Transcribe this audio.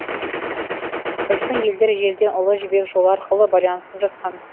біздің елдер ежелден ұлы жібек жолы арқылы байланысып жатқан